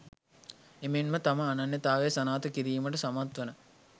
එමෙන්ම තම අනන්‍යතාවය සනාථ කිරීමට සමත්වන